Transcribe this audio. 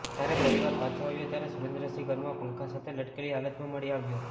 જ્યારે પરિવાર પાછો આવ્યો ત્યારે સુરેન્દ્રસિંહ ઘરમાં પંખા સાથે લટકેલી હાલતમાં મળી આવ્યો